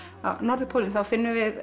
á norðurpólinn þá finnum við